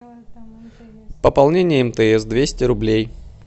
пополнение мтс двести рублей